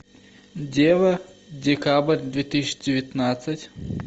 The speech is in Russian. дело декабрь две тысячи девятнадцать